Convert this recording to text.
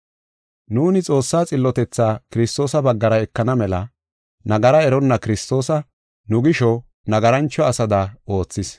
Nuuni Xoossaa xillotethaa Kiristoosa baggara ekana mela, nagara eronna Kiristoosa nu gisho, nagarancho asada oothis.